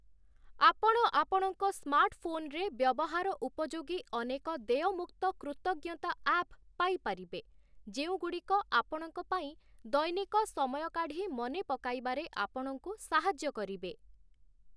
ଆପଣ ଆପଣଙ୍କ ସ୍ମାର୍ଟଫୋନରେ ବ୍ୟବହାର ଉପଯୋଗୀ ଅନେକ ଦେୟମୁକ୍ତ କୃତଜ୍ଞତା ଆପ୍ ପାଇପାରିବେ, ଯେଉଁଗୁଡ଼ିକ ଆପଣଙ୍କ ପାଇଁ ଦୈନିକ ସମୟ କାଢ଼ି ମନେ ପକାଇବାରେ ଆପଣଙ୍କୁ ସାହାଯ୍ୟ କରିବେ ।